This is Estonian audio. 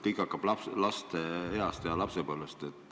Kõik saab alguse lapsepõlves.